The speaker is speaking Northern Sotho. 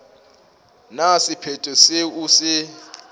na sephetho seo o se